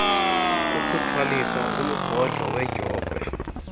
kukuthwaliswa umgodlo wedyokhwe